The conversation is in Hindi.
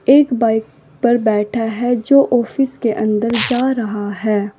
एक बाइक पर बैठा है जो ऑफिस के अंदर जा रहा है।